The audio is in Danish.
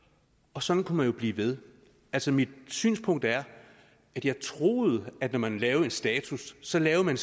og sådan kunne man jo blive ved altså mit synspunkt er at jeg troede at når man lavede en status så lavede man